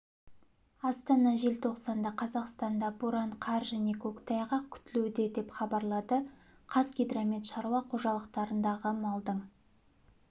астана желтоқсанда қазақстанда боран қар және көктайғақ күтілуде деп хабарлады қазгидромет шаруа қожалықтарындағы малдың